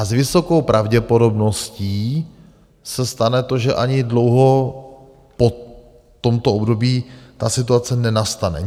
A s vysokou pravděpodobností se stane to, že ani dlouho po tomto období ta situace nenastane.